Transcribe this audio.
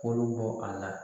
Kolo bɔ a la